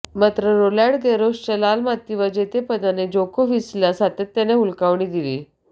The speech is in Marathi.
मात्र रोलँड गॅरोसच्या लाल मातीवर जेतेपदाने जोकोव्हिचला सातत्याने हुलकावणी दिली